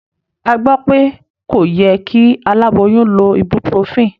A gbọ́ pé kò yẹ kí aláboyún lo ibuprofen.